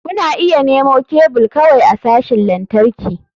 Kuna iya nemo kebul kawai a sashin lantarki.